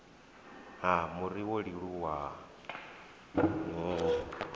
ha muri wa ḽiluvha ngoho